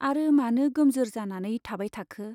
आरो मानो गोमजोर जानानै थाबाय थाखो !